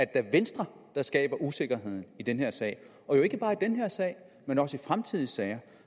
da venstre der skaber usikkerheden i den her sag og jo ikke bare i den her sag men også i fremtidige sager